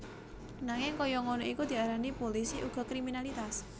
Nanging kaya ngono iku diarani pulisi uga kriminalitas